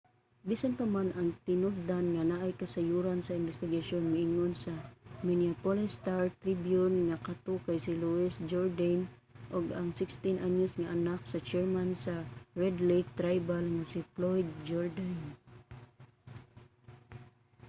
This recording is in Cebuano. bisan pa man ang tinubdan nga naay kasayuran sa imbestigasyon miingon sa minneapolis star-tribune nga kato kay si louis jourdaine ang 16 anyos nga anak sa chairman sa red lake tribal nga si floyd jourdain